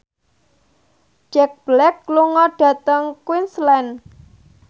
Jack Black lunga dhateng Queensland